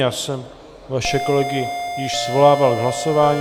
Já jsem vaše kolegy již svolával k hlasování.